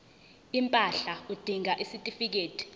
impahla udinga isitifikedi